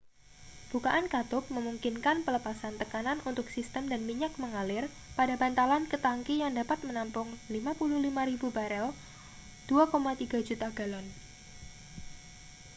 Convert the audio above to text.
bukaan katup memungkinkan pelepasan tekanan untuk sistem dan minyak mengalir pada bantalan ke tangki yang dapat menampung 55.000 barel 2,3 juta galon